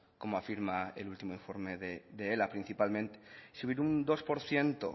como afirma el último informe de ela principalmente subir un dos por ciento